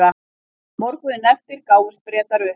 Morguninn eftir gáfust Bretar upp.